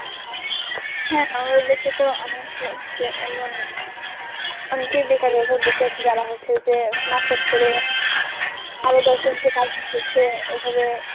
হ্যাঁ আমাদের দেশে তো অনেক হচ্ছে এমন অনেকেই বেকারের এভাবে বসে আছে যারা হচ্ছে যে মাছ চাষ করে আরো দশজনকে পাঁচজন হচ্ছে এভাবে